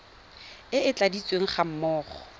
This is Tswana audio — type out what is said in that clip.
e e tladitsweng ga mmogo